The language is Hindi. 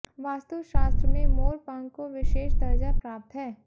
वास्तुशास्त्र में मोर पंख को विशेष दर्जा प्राप्त है